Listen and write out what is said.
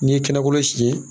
N'i ye kɛnɛkolon siyɛn